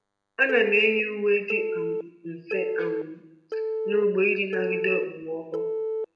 Ana m eyi uwe dị um mfe um n’ugbo iji nagide okpomọkụ.